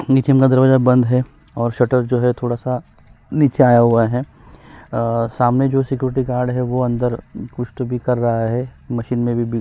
नीचे का दरवाजा बंद है और शटर जो है वह नीचे आया हुआ है समय जो सिक्योरिटी गार्ड है वो अंदर कुछ तो कर रहा है मशीन में भी बी --